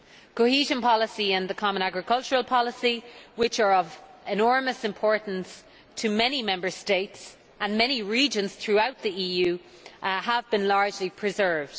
Cohesion policy and the Common Agricultural Policy, which are of enormous importance to many Member States and many regions throughout the EU, have been largely preserved.